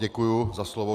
Děkuji za slovo.